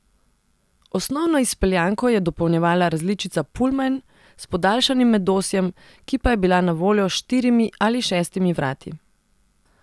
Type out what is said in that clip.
Osnovno izpeljanko je dopolnjevala različica pullman s podaljšanim medosjem, ki pa je bila na voljo s štirimi ali šestimi vrati.